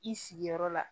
I sigiyɔrɔ la